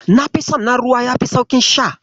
Nafi son na ruwa yafi sauƙin sha.